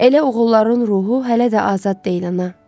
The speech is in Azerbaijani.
Elə oğulların ruhu hələ də azad deyil ana.